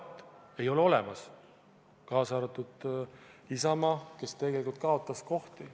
Seda ei ole olemas, kaasa arvatud Isamaal, kes tegelikult kaotas kohti.